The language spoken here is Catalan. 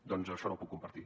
doncs això no ho puc compartir